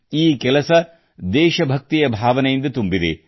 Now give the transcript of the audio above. ಈ ಕೆಲಸ ದೇಶ ಭಕ್ತಿಯ ಭಾವನೆಯಿಂದ ತುಂಬಿದೆ